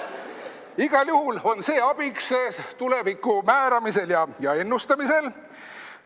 Igal juhul on see abiks tuleviku määramisel ja ennustamisel.